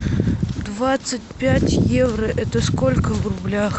двадцать пять евро это сколько в рублях